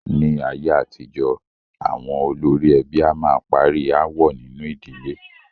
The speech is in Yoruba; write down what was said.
Ní ayé àtijọ́, àwọn olórí ẹbí a máa parí aáwọ̀ nínu ìdílé.